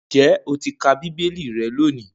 Ǹjé̩ o ti ka bíbélì re̩ lónìí?